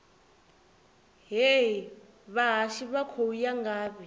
hee vhahashu vha khou ya ngafhi